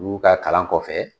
Olu ka kalan kɔfɛ.